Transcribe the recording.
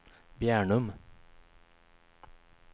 Bjärnum